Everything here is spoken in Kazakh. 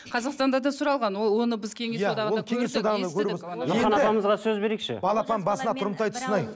қазақстанда да сұралған ол оны біз кеңес одағында көрдік